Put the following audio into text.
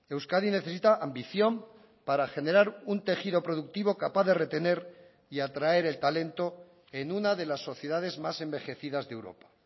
euskadi necesita ambición para generar un tejido productivo capaz de retener y atraer el talento en una de las sociedades más envejecidas de europa